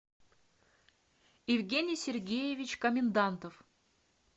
евгений сергеевич комендантов